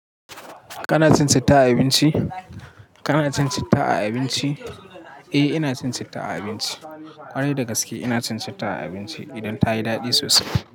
Kana cin citta a abinci? Kana cin citta a abinci? Eh, ina cin citta a abinci. Kwarai da gaske, ina cin citta a abinci idan ta yi daɗi sosai.